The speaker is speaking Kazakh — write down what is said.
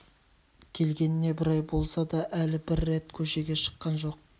келгеніне бір ай болса да әл бір рет көшеге шыққан жоқ